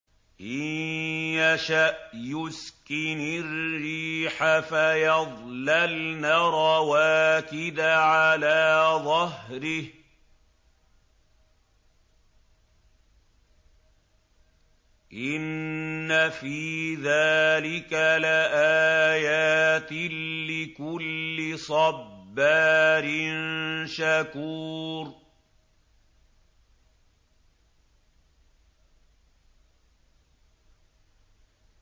إِن يَشَأْ يُسْكِنِ الرِّيحَ فَيَظْلَلْنَ رَوَاكِدَ عَلَىٰ ظَهْرِهِ ۚ إِنَّ فِي ذَٰلِكَ لَآيَاتٍ لِّكُلِّ صَبَّارٍ شَكُورٍ